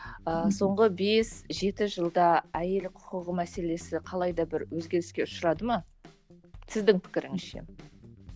ыыы соңғы бес жеті жылда айел құқығы мәселесі қалай да бір өзгеріске ұшырады ма сіздің пікіріңізше